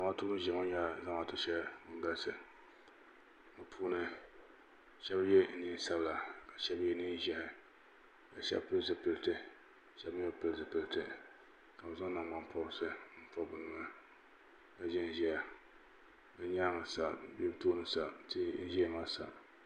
zamatu din ʒɛya ŋɔ nyɛla zamaatu shɛli din galisi bɛ puuni shɛbi yɛ nɛnpiɛlla ka shɛbi yɛ nɛnʒiɛhi ka shɛbi pɛli zipɛli ka shɛbi mi be pɛli zupɛlitɛ ka bɛ zan nagbanpɔrisi pobi be noya kaʒɛn ʒɛya be nyɛŋa sa be tuuni sa tihi n ʒɛya maa sa